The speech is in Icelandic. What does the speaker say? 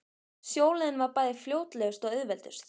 Sjóleiðin var bæði fljótlegust og auðveldust.